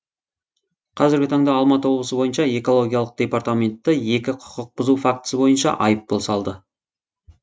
қазіргі таңда алматы облысы бойынша экология департаменті екі құқық бұзу фактісі бойынша айыппұл салды